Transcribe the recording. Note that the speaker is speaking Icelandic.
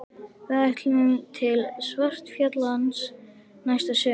Við ætlum til Svartfjallalands næsta sumar.